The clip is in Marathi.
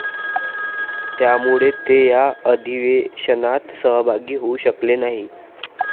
त्यामुळे ते या अधिवेशनात सहभागी होऊ शकले नाही.